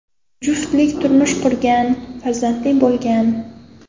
Juftlik turmush qurgan, farzandli bo‘lgan.